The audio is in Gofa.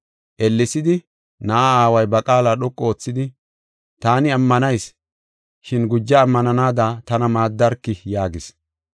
Ellesidi na7aa aaway ba qaala dhoqu oothidi, “Taani ammanayis, shin guja ammananada tana maaddarki” yaagis.